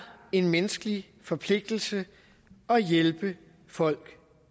en menneskelig forpligtelse at hjælpe folk